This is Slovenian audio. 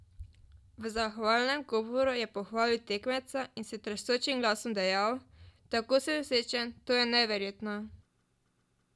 V zahvalnem govoru je pohvalil tekmeca in s tresočim glasom dejal: "Tako sem srečen, to je neverjetno.